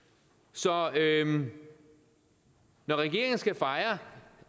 så når regeringen skal fejre